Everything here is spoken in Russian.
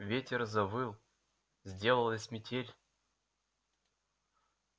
ветер завыл сделалась метель